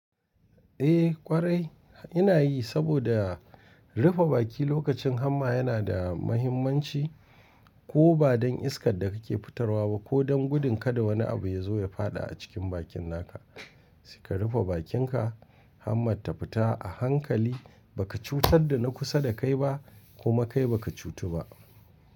Eh ƙwarai ina yi saboda rufe baki lokacin hamma yana da mahimmanci. Eh ƙwarai ina yi saboda rufe baki lokacin hamma yana da mahimmanci. Ko ba don iskar da kake fitarwa ba ko don gudun kada wani abu ya zo ya fada a cikin bakin naka. Kuma kai baka cutu ba.